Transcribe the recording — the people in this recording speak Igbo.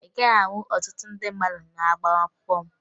Ị gaghị ahụ ọtụtụ ndị mmadụ n'agbamakwụkwọ m